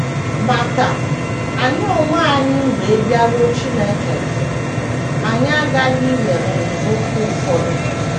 Ma ka anyị onwe anyị wee bịaruo Chineke nso, anyị aghaghị iwere nzọụkwụ ụfọdụ.